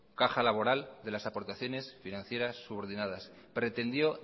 caja laboral de las aportaciones financieras subordinadas pretendió